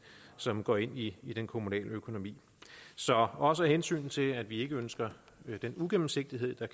som går ind i den kommunale økonomi så også af hensyn til at vi ikke ønsker den uigennemsigtighed